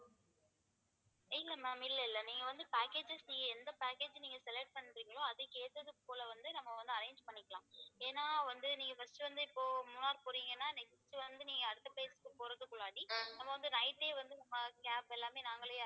இல்லை ma'am இல்லை இல்லை நீங்க வந்து packages நீங்க எந்த packages நீங்க select பண்றிங்களோ அதுக்கு ஏத்துது போல வந்து நம்ம வந்து arrange பண்ணிக்கலாம் ஏன்னா வந்து first வந்து இப்போ மூணார் போறீங்கன்னா next வந்து அடுத்த place க்கு போறதுக்கு முன்னாடி நம்ம வந்து night ஏ வந்து cab எல்லாமே நாங்களே